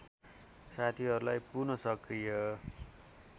साथीहरूलाई पुनःसकृय